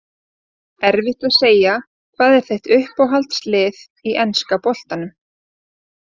Erfitt að segja Hvað er þitt uppáhalds lið í enska boltanum?